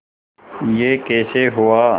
यह कैसे हुआ